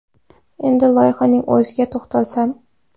Endi loyihaning o‘ziga to‘xtalsam.